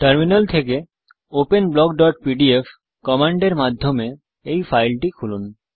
terminal থেকে open blockপিডিএফ command এর মাধ্যমে এই ফাইলটি খুলুন